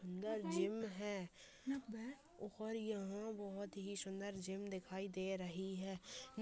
अंदर जिम है और यहां बहुत ही सुन्दर जिम दिखाई दे रही है।